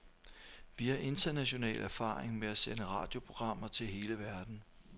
Vi har international erfaring med at sende radioprogrammer til hele verden.